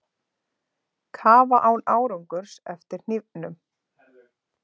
Kafa án árangurs eftir hnífnum